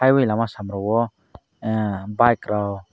oe lama samro o bike rok.